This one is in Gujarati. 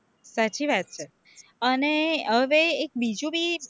સાચી વાત છે, અને હવે એક બીજું ભી